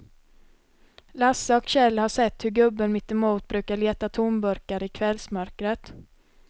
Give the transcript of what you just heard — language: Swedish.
Lasse och Kjell har sett hur gubben mittemot brukar leta tomburkar i kvällsmörkret.